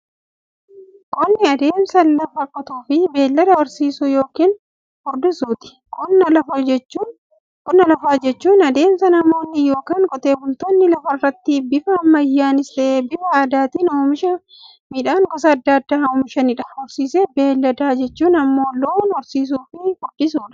Qonni adeemsa lafa qotuufi beeylada horsiisuu yookiin furdisuuti. Qonna lafaa jechuun adeemsa namoonni yookiin Qotee bultoonni lafarraatti bifa ammayyanis ta'ee, bifa aadaatiin oomisha midhaan gosa adda addaa oomishaniidha. Horsiisa beeyladaa jechuun immoo loon horsiisuufi furdisuudha.